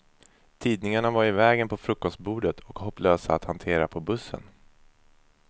Tidningarna var i vägen på frukostbordet och hopplösa att hantera på bussen.